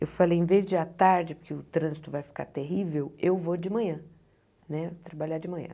Eu falei, em vez de à tarde, porque o trânsito vai ficar terrível, eu vou de manhã né, trabalhar de manhã.